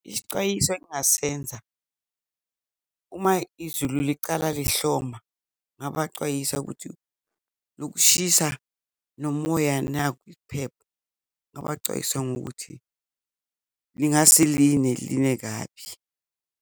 Isicwayiso engingasenza uma izulu licala lihloma, ngingabacwayisa ukuthi lokushisa nomoya nakhu isiphepho, ngingabacwayisa ngokuthi lingase line, line kabi.